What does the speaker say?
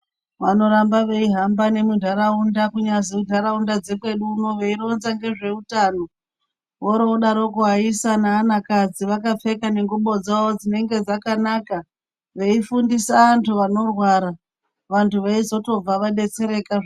Vanoramba veihamba nemuntaraunda kunyaze ntaraunda dzekwedu unoyu veironza ngezveutano woro vodaroko vaisa nevanakadzi vakapfeka nengubo dzavo dzinenge dzakanaka veifundisa antu vanorwara vantu veyizotobva vadetsereka ...